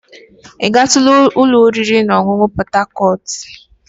Ị gatula ụlọ oriri na ọṅụṅụ Port Harcourt?